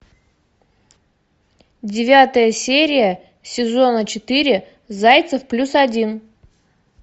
девятая серия сезона четыре зайцев плюс один